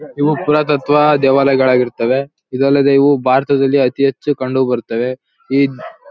ಇವು ಪುರಾತತ್ವ ದೇವಾಲಯಗಳಾಗಿರ್ತವೆ ಇದಲ್ಲದೆ ಇವು ಭಾರತದಲ್ಲಿ ಅತಿ ಹೆಚ್ಚು ಕಂಡು ಬರುತ್ತವೆ ಈ.